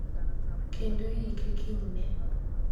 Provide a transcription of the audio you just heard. Kendo iyike kinyne.